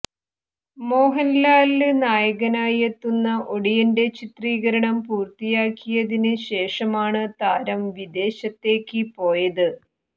മോഹന്ലാല് നായകനായെത്തുന്ന ഒടിയന്റെ ചിത്രീകരണം പൂര്ത്തിയാക്കിയതിന് ശേഷമാണ് താരം വിദേശത്തേക്ക് പോയത്